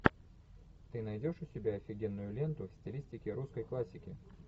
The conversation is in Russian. ты найдешь у себя офигенную ленту в стилистике русской классики